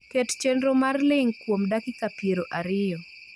Ket chenro mar ling' kuom dakika piero ariyo